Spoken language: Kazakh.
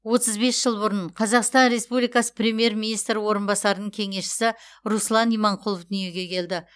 отыз бес жыл бұрын қазақстан республикасы премьер министр орынбасарының кеңесшісі руслан иманқұлов дүниеге келді